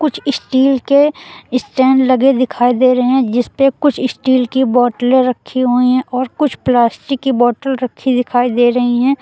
Steel के stand लगे दिखाई दे रहें जिस पे कुछ स्टील की बॉटले रखी हुई है और कुछ प्लास्टिक की बॉटल रखी दिखाई दे रही हैं।